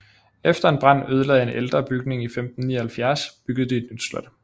Efter en brand ødelagde en ældre bygning i 1579 byggede de et nyt slot